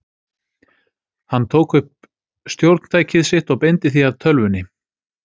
Hann tók upp stjórntækið sitt og beindi því að tölvunni.